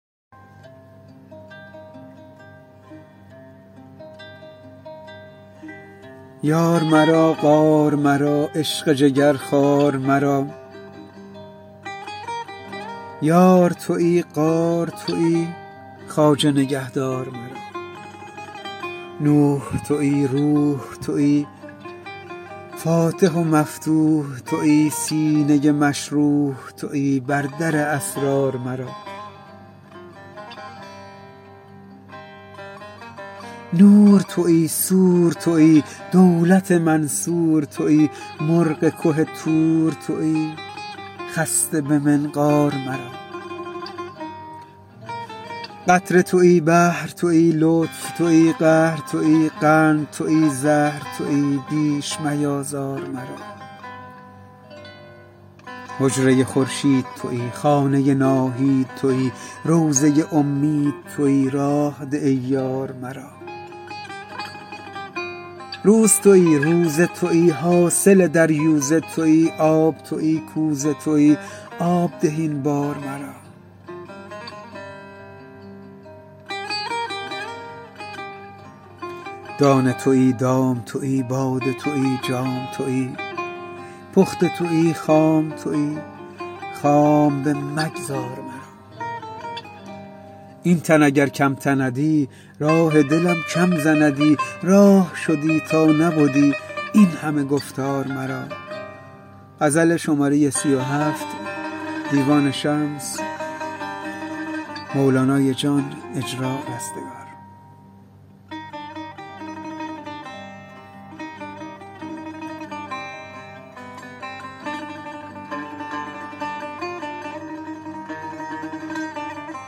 یار مرا غار مرا عشق جگرخوار مرا یار تویی غار تویی خواجه نگهدار مرا نوح تویی روح تویی فاتح و مفتوح تویی سینه مشروح تویی بر در اسرار مرا نور تویی سور تویی دولت منصور تویی مرغ که طور تویی خسته به منقار مرا قطره تویی بحر تویی لطف تویی قهر تویی قند تویی زهر تویی بیش میآزار مرا حجره خورشید تویی خانه ناهید تویی روضه امید تویی راه ده ای یار مرا روز تویی روزه تویی حاصل دریوزه تویی آب تویی کوزه تویی آب ده این بار مرا دانه تویی دام تویی باده تویی جام تویی پخته تویی خام تویی خام بمگذار مرا این تن اگر کم تندی راه دلم کم زندی راه شدی تا نبدی این همه گفتار مرا